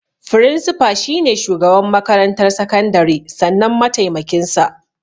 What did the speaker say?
Firinsifa shi ne shugaban makarantar sakandare sannan sai mataimakin sa.